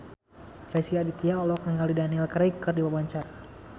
Rezky Aditya olohok ningali Daniel Craig keur diwawancara